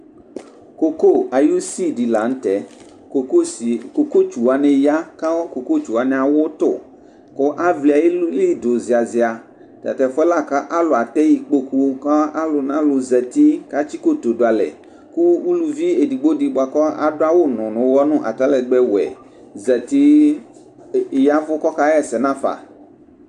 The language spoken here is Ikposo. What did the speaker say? Ƙoƙo aƴʋ usi ɖɩ la nʋ tɛƘoƙotsu wanɩ ƴa, ƙoƙotsu wanɩ awʋ tʋ,ƙʋ avlɩ aƴili ɖʋ zɩazɩa; atatʋ ɛfʋƴɛ la ƙʋ alʋ atɛ iƙpoƙu ƙʋ alʋnalʋ zati ƙ'atsɩ iƙotu ɖʋalɛ, ƙʋ uluvi eɖigbo ɖɩ bʋa ƙʋ aɖʋ awʋ nʋ ʋwɔnʋ ,nʋ atalɛgbɛ wɛ zati, ɛɖɩ ƴaɛvʋ ƙʋ ɔƙa ɣa ɛsɛ nʋ afa nɩɩ n'afa